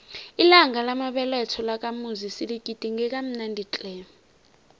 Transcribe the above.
ilanga lamabeletho lakamuzi siligidinge kamnandi tle